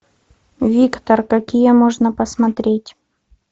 виктор какие можно посмотреть